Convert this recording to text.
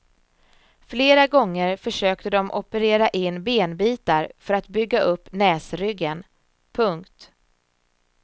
Flera gånger försökte de operera in benbitar för att bygga upp näsryggen. punkt